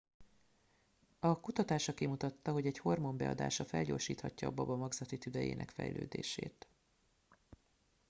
a kutatása kimutatta hogy egy hormon beadása felgyorsíthatja a baba magzati tüdejének fejlődését